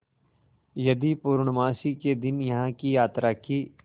यदि पूर्णमासी के दिन यहाँ की यात्रा की